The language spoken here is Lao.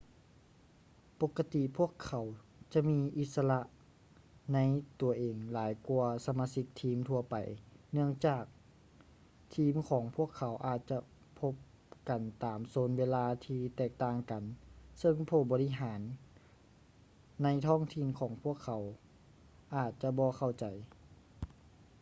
ປົກກະຕິພວກເຂົາຈະມີອິດສະຫຼະໃນຕົວເອງຫຼາຍກ່ວາສະມາຊິກທີມທົ່ວໄປເນື່ອງຈາກທີມຂອງພວກເຂົາອາດຈະພົບກັນຕາມໂຊນເວລາທີ່ແຕກຕ່າງກັນເຊິ່ງຜູ້ບໍລິຫານໃນທ້ອງຖິ່ນຂອງພວກເຂົາອາດຈະບໍ່ເຂົ້າໃຈ